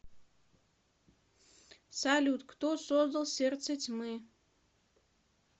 салют кто создал сердце тьмы